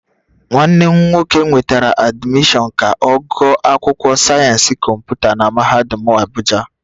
Nwanne m nwoke nwetara admission ka ogu akwukwo sayensi komputa na mahadum Abuja